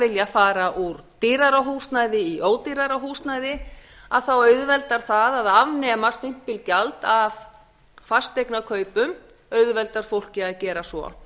vilja fara úr dýrara húsnæði í ódýrara húsnæði að þá auðveldar það að afnema stimpilgjald af fasteignakaupum auðveldar fólki að gera svo